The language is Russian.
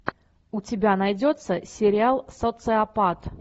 у тебя найдется сериал социопат